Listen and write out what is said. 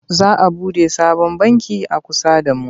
Za a buɗe sabon banki a kusa da mu.